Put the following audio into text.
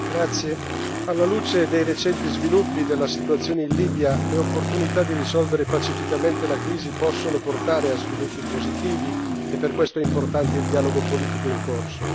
Signora Presidente, onorevoli colleghi, alla luce dei recenti sviluppi della situazione in Libia, le opportunità di risolvere pacificamente la crisi possono portare a sviluppi positivi e per questo è importante il dialogo politico in corso.